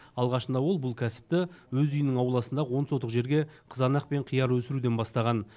алғашында ол бұл кәсіпті өз үйінің ауласындағы он сотық жерге қызанақ пен қияр өсіруден бастаған